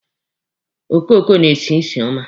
Okoko na-esi usi ọma.